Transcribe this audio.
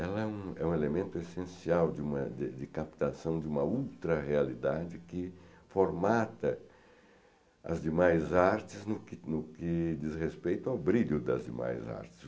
Ela é um elemento essencial de uma de captação de uma ultra-realidade que formata as demais artes no que no que diz respeito ao brilho das demais artes.